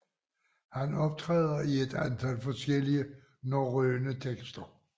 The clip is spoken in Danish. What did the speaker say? Han optræder i et antal forskellige norrøne tekster